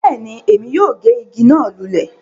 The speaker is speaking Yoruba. Bẹ́ẹ̀ni, èmi yóò gé ìgi náà lulẹ̀